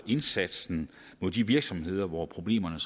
indsatsen mod de virksomheder hvor problemerne